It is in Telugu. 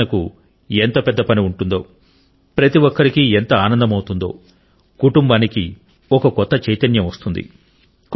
పరిశోధనకు ఎంత పెద్ద పని ఉంటుందో ప్రతి ఒక్కరికి ఎంత ఆనందమౌతుంది కుటుంబానికి ఒక కొత్త చైతన్యం వస్తుంది